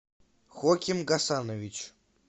хоким гасанович